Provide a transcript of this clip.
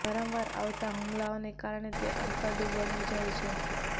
વારંવાર આવતા હુમલાઓને કારણે તે અતડું બની જાય છે